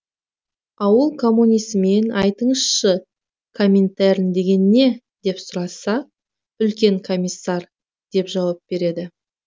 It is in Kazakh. ауыл коммунисінен айтыңызшы коминтерн деген не деп сұраса үлкен комиссар деп жауап береді